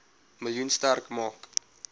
miljoen sterk maak